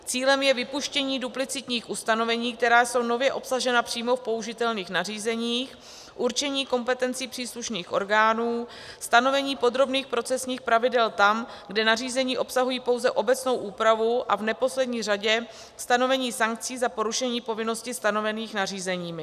Cílem je vypuštění duplicitních ustanovení, která jsou nově obsažena v přímo použitelných nařízeních, určení kompetencí příslušných orgánů, stanovení podrobných procesních pravidel tam, kde nařízení obsahují pouze obecnou úpravu, a v neposlední řadě stanovení sankcí za porušení povinností, stanovených nařízeními.